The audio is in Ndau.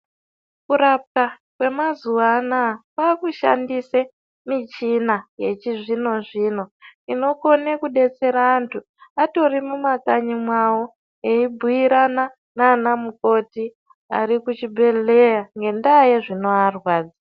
Kurapwa kwemazuwa anaa kwakushandiswe michina yechizvino zvino inokone kudetsera antu atori mumakanyi mwawo eibhuirana naanamukoti ari kuchibhedhlera ngendaa yezviri kuvarwadza.